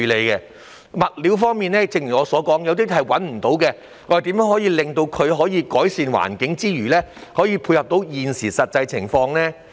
正如我剛才所說，有些物料現時已找不到，當局應研究如何在改善環境之餘，亦能配合現今的實際情況。